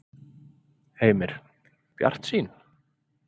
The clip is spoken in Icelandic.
Heimir: Bjartsýn?